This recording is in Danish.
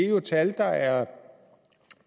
jo er tal der er